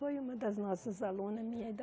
Foi uma das nossas alunas, minha e da